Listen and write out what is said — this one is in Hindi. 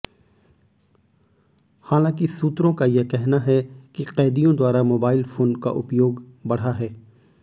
हालांकि सूत्रों का यह कहना है कि कैदियों द्वारा मोबाइल फोन का उपयोग बढ़ा है